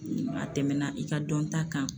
A tɛmɛna i ka dɔnta kan.